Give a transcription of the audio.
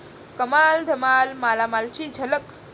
कमाल धमाल मालामाल'ची झलक